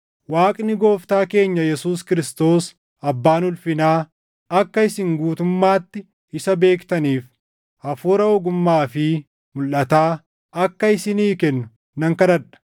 Waaqni Gooftaa keenya Yesuus Kiristoos, Abbaan ulfinaa, akka isin guutummaatti isa beektaniif Hafuura ogummaa fi mulʼataa akka isinii kennu nan kadhadha.